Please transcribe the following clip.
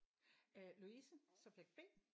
Øh Louise subject B